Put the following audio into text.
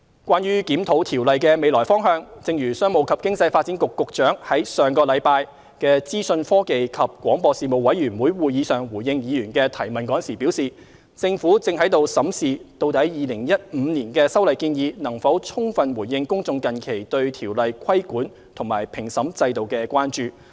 關於檢討《條例》的未來方向，正如商務及經濟發展局局長於上星期在資訊科技及廣播事務委員會會議上回應議員的提問時表示，政府正審視究竟2015年的修例建議能否充分回應公眾近期對《條例》規管及評審制度的關注。